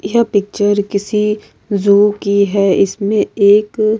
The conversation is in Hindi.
यह पिक्चर किसी जू की है इसमें एक -